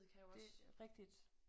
Det rigtigt